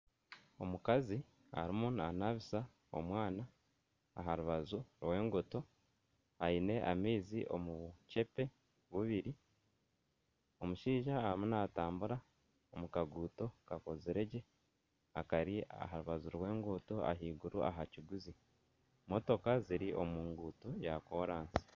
Omukazi arimu nanabisa omwana aha rubaju rw'enguuto aine amaizi omu bukyeepe bubiri, omushaija arimu natambura omu kaguuto kakozire gye akari aha rubaju rw'enguuto ahaiguru aha kiguzi motooka ziri omu nguuto ya koransi.